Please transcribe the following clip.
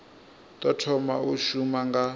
ḓo thoma u shuma nga